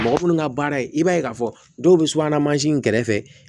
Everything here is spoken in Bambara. Mɔgɔ minnu ka baara ye i b'a ye k'a fɔ dɔw bɛ subahana mansin kɛrɛfɛ